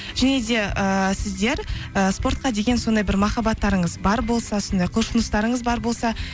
және де ыыы сіздер ы спортқа деген сондай бір махаббатырыңыз бар болса сондай құлшыныстарыңыз бар болса